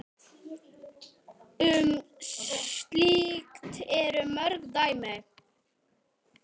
Um slíkt eru mörg dæmi.